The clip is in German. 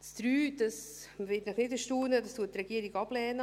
Die Planungserklärung 3, das wird Sie nicht erstaunen, lehnt die Regierung ab.